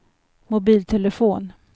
mobiltelefon